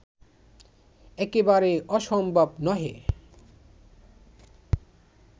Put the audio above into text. একেবারে অসম্ভব নহে